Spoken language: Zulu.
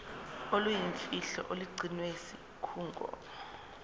oluyimfihlo olugcinwe yisikhungo